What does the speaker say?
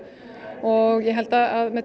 og ég held að með